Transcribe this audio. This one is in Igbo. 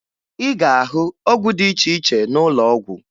Ị ga-ahụ ọgwụ dị iche iche n'ụlọọgwụ